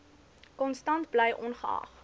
konstant bly ongeag